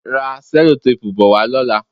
Ra sẹ́lótéèpu bo wá lọ́la.